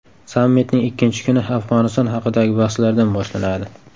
Sammitning ikkinchi kuni Afg‘oniston haqidagi bahslardan boshlanadi.